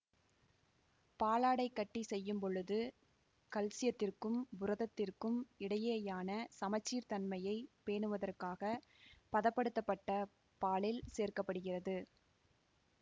பாலாடைக்கட்டி செய்யும் பொழுது கல்சியத்திற்கும் புரதத்திற்கும் இடையேயான சமச்சீர் தன்மையை பேணுவதற்காக பதப்படுத்தப்பட்ட பாலில் சேர்க்க படுகிறது